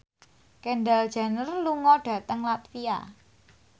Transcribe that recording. Kendall Jenner lunga dhateng latvia